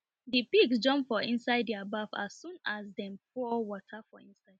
the pigs jump for inside their baf as soon as dem pour water for inside